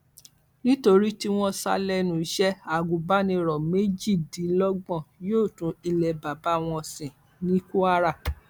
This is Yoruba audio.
nítorí tí wọn sá lẹnu iṣẹ agùnbánirò méjìdínlọgbọn yóò tún ilé bàbá wọn sìn ní kwara